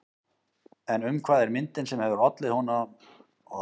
En um hvað er myndin sem hefur ollið honum svo miklu fjárhagstjóni?